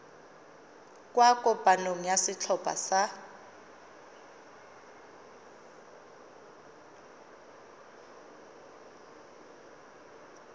kwa kopanong ya setlhopha sa